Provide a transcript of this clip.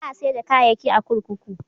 Ba a sayar da kayayyaki a kurkuku.